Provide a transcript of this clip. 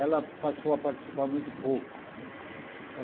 Ela passou a participar muito pouco né.